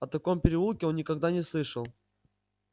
о таком переулке он никогда не слышал